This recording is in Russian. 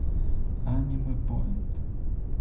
анимэпоинт